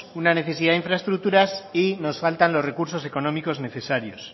una necesidad de infraestructuras y nos faltan los recursos económicos necesarios